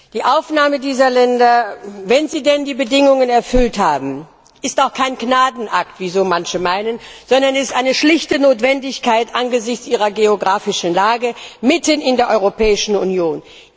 Die Aufnahme dieser Länder, wenn sie denn die Bedingungen erfüllt haben, ist auch kein Gnadenakt, wie so manche meinen, sondern es ist eine schlichte Notwendigkeit angesichts ihrer geografischen Lage mitten in der Europäischen Union.